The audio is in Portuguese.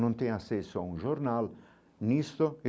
Não tem acesso a um jornal nisto.